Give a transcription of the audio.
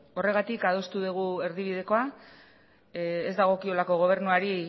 horregatik adostu dugu erdibidekoa ez dagokiolako gobernuari